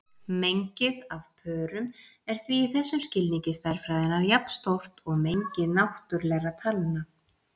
Mengið af pörum er því í þessum skilningi stærðfræðinnar jafnstórt og mengi náttúrlegra talna.